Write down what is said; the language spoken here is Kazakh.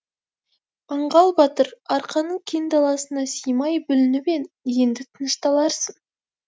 аңғал батыр арқаның кең даласына сыймай бүлініп ең енді тынышталарсың